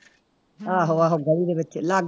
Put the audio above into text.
ਆਹੋ ਆਹੋ ਗਲੀ ਦੇ ਵਿੱਚ ਲਾਗੇ